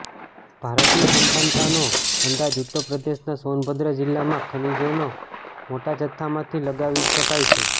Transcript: ભારતની સંપન્નતાનો અંદાજ ઉત્તરપ્રદેશના સોનભદ્ર જિલ્લામાં ખનીજોના મોટા જથ્થઆથી લગાવી શકાય છે